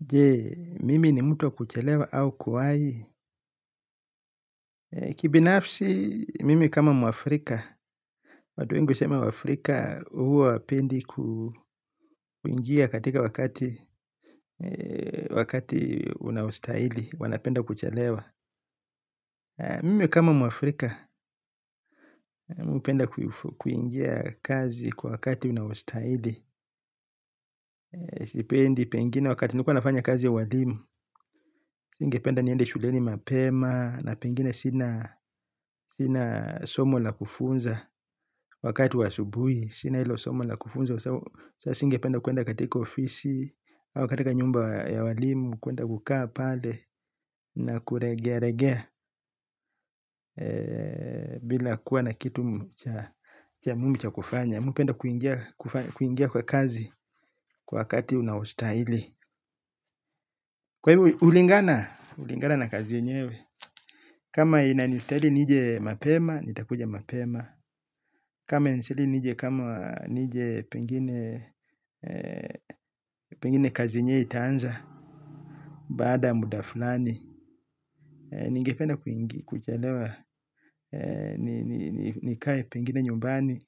Je, mimi ni mtu wa kuchelewa au kuwahi. Kibinafsi, mimi kama mwafrika, watu wengi husema wafrika huwa hawapendi kuingia katika wakati unaostahili, wanapenda kuchelewa. Mimi kama mwafrika, mimi penda kuingia kazi kwa wakati unaostahili. Sipendi pengine wakati nakuwa nafanya kazi ya ualimu. Ningependa niende shuleni mapema na pengine sina somo la kufunza wakati wa asubuhi. Sina hilo somo la kufunza. Sasa singependa kuenda katika ofisi, au katika nyumba ya walimu, kuenda kukaa pale na kulegea legea bila kuwa na kitu cha muhimu cha kufanya. Mimi hupenda kuingia kwa kazi kwa wakati unaostahili. Kwa hivyo hulingana? Ulingana na kazi yenyewe. Kama inanistahili nije mapema, nitakuja mapema. Kama inistahili nije kama nije pengine pengine kazi yenyewe itaanza baada muda fulani. Nigependa kuchelewa, nikae pengine nyumbani,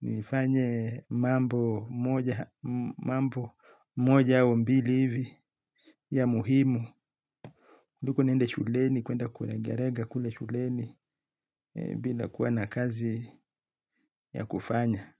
nifanye mambo moja au mbili hivi ya muhimu kuliko niende shuleni, kuenda kulegalega kule shuleni bila kuwa na kazi ya kufanya.